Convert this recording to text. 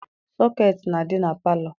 Sọketi na-adị na palọ.